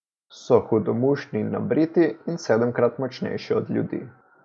So hudomušni in nabriti in sedemkrat močnejši od ljudi.